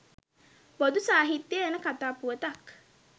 බොදු සාහිත්‍යයේ එන කතා පුවතක්.